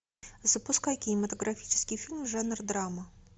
запускай кинематографический фильм жанр драма